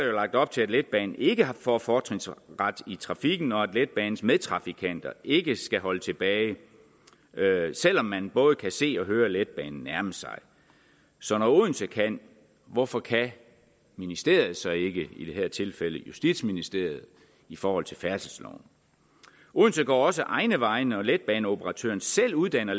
jo lagt op til at letbanen ikke får fortrinsret i trafikken og at letbanens medtrafikanter ikke skal holde tilbage selv om man både kan se og høre letbanen nærme sig så når odense kan hvorfor kan ministeriet så ikke i det her tilfælde justitsministeriet i forhold til færdselsloven odense går også egne veje når letbaneoperatøren selv uddanner